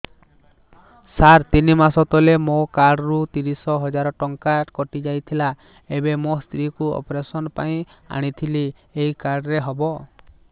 ସାର ତିନି ମାସ ତଳେ ମୋ କାର୍ଡ ରୁ ତିରିଶ ହଜାର ଟଙ୍କା କଟିଯାଇଥିଲା ଏବେ ମୋ ସ୍ତ୍ରୀ କୁ ଅପେରସନ ପାଇଁ ଆଣିଥିଲି ଏଇ କାର୍ଡ ରେ ହବ